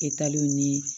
E taliw ni